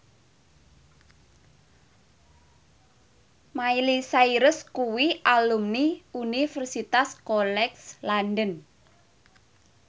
Miley Cyrus kuwi alumni Universitas College London